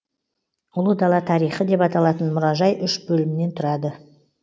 ұлы дала тарихы деп аталатын мұражай үш бөлімнен тұрады